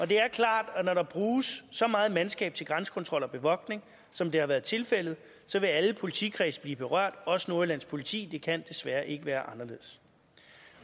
det er klart at når der bruges så meget mandskab til grænsekontrol og bevogtning som det har været tilfældet så vil alle politikredse blive berørt også nordjyllands politi det kan desværre ikke være anderledes